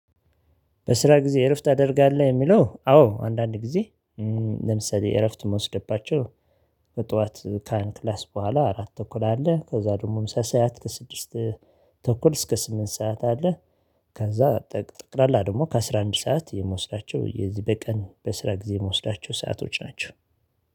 በስራ ጊዜ እረፍት ታደርጋለህ? የሚለው አዎ አንዳንድ ጊዜ ለምሳሌ እረፍት ምወሰድባቸው። ከአንድ ክላስ በኋላ አራት ተኩል አለ ከዛ ደግሞም ሰሰያት ከስድስት ተኩል እስከ ስምንት ሰዓት አለ። ከዛ ጠቅላላ ደግሞ ከአሥራ አንድ ሰዓት የምወስዳቸው የዚህ በቀን በስራ ጊዜ ምወስዳቸው ሰአቶች ናቸው